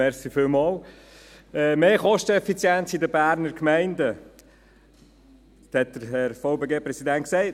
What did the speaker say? Mehr Kosteneffizienz in den Berner Gemeinden, dies hat der VBGPräsident gesagt.